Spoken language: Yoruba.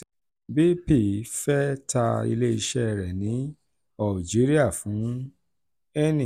bp fee ta ileiṣẹ́ rẹ̀ ní algeria fún eni